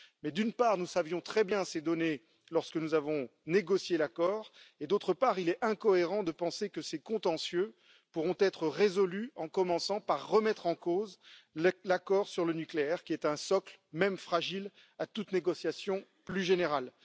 Mais d'une part, nous connaissions très bien ces données lorsque nous avons négocié l'accord et d'autre part, il est incohérent de penser que ces contentieux pourront être résolus en commençant par remettre en cause l'accord sur le nucléaire, qui est un socle, même fragile, à toute négociation plus générale.